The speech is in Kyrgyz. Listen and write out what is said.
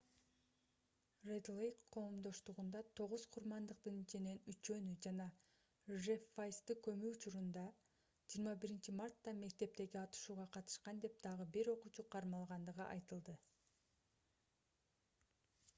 ред-лейк коомдоштугунда тогуз курмандыктын ичинен үчөөнү жана жефф вайзды көмүү учурунда 21-мартта мектептеги атышууга катышкан деп дагы бир окуучу кармалгандыгы айтылды